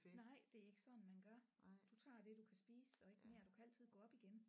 Nej det er ikke sådan man gør du tager det du kan spise og ikke mere du kan altid gå op igen